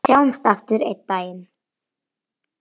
Sjáumst aftur einn daginn.